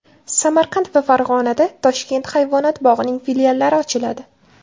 Samarqand va Farg‘onada Toshkent hayvonot bog‘ining filiallari ochiladi.